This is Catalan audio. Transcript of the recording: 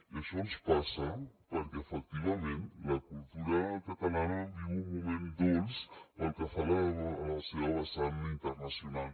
i això ens passa perquè efectivament la cultura catalana viu un moment dolç pel que fa a la seva vessant internacional